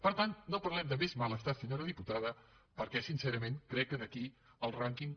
per tant no parlem de més malestar senyora diputada perquè sincerament crec que aquí el rànquing